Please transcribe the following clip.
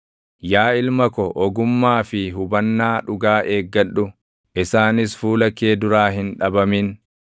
Yaa ilma ko ogummaa fi hubannaa dhugaa eeggadhu; isaanis fuula kee duraa hin dhabamin;